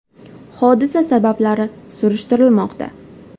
Hodisa sabablari surishtirilmoqda.